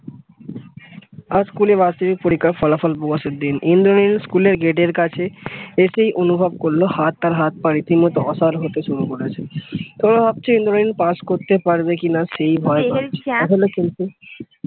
আজ school এর বাৎসরিক পরীক্ষার ফলাফলের প্রকাশের দিন ইন্দ্রনীল স্কুল এর গেট এর কাছে এসেই অনুভব করলো হাত তার হাত-পা রীতিমতো অসহায় হতে শুরু করেছে তো ভাবছে ইন্দ্রনীল pass করতে পারবে কিনা সেই ভয়ে